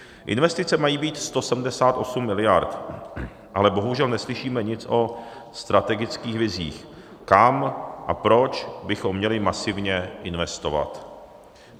Investice mají být 178 mld., ale bohužel neslyšíme nic o strategických vizích, kam a proč bychom měli masivně investovat.